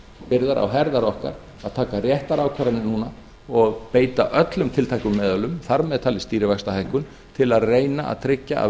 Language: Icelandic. byrðar á herðar okkar að taka réttar ákvarðanir núna og beita ölum tiltækum meðulum þar með talið stýrivaxtahækkun til að reyna að tryggja að